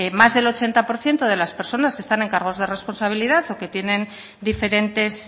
más del ochenta por ciento de las personas que están en cargos de responsabilidad o que tienen diferentes